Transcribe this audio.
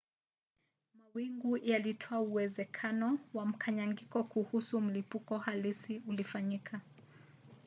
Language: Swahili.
mawingu yalitoa uwezekano wa mkanganyiko kuhusu kama mlipuko halisi ulifanyika